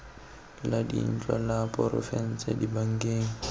la dintlo la porofense dibankeng